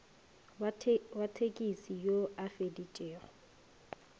wa thekisi yo a feditšego